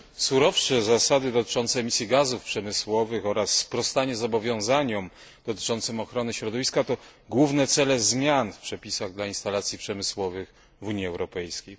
Surowsze zasady dotyczące emisji gazów przemysłowych oraz sprostanie zobowiązaniom dotyczącym ochrony środowiska to główne cele zmian w przepisach dla instalacji przemysłowych w Unii Europejskiej.